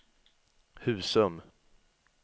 Husum